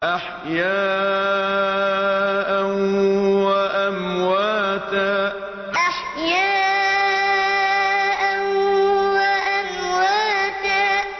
أَحْيَاءً وَأَمْوَاتًا أَحْيَاءً وَأَمْوَاتًا